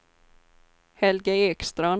Helge Ekstrand